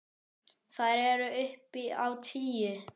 Þær eru upp á tíu.